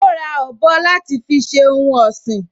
Ó ra ọ̀bọ láti fi ṣe ohun ọ̀sìn